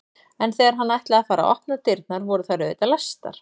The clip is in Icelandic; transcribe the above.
En þegar hann ætlaði að fara að opna dyrnar voru þær auðvitað læstar.